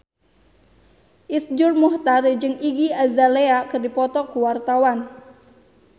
Iszur Muchtar jeung Iggy Azalea keur dipoto ku wartawan